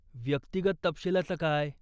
व्यक्तिगत तपशिलाचं काय?